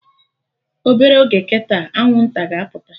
Obere oge kịta, Anwụnta ga-apụta